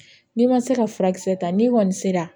N'i ma se ka furakisɛ ta n'i kɔni sera